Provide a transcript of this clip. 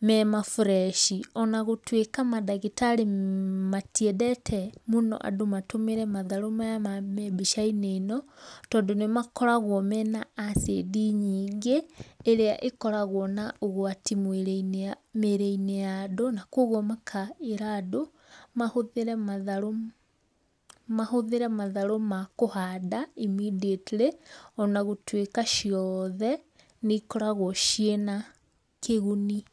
mema bureci ona gũtwĩka madagitarĩ matiendete andũ matũmĩre matharũ maya me mbica-inĩ ĩno tondũ nĩmakoragwo mena acindi nyingĩ ĩrĩa ĩkoragwo na ũgwati mwiri-inĩ, mĩrĩ-nĩ ya andũ kũoguo makera andũ mahũthĩre matharũ ma kũhanda immediately ona gũtuĩka ciothe nĩ ikoragwo ciĩna kĩguni.